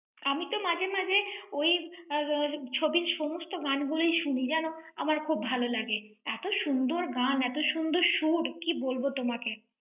আমি তো মাঝে মাঝে ওই আহ ছবির সমস্ত গানগুলি শুনি। জানো আমার খুব ভাল লাগে। এত সুন্দর গান, এত সুন্দর সুর, কী বলব তোমাকে।